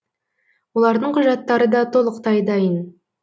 олардың құжаттары да толықтай дайын